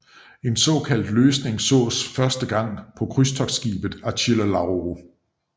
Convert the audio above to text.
En sådan løsning sås første gang på krydstogtskibet Achille Lauro